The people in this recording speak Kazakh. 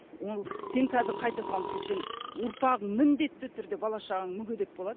ол сен қазір қайта салынып кетсең ұрпағың міндетті түрде бала шағаң мүгедек болады